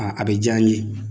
a bɛ ja n ye.